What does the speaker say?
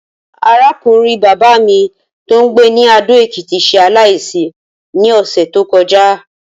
Arákùnrin bàbá mi tó ń gbé ní Adó-Ekìtì s̩e aláìsí ní ò̩sè̩ tó ko̩já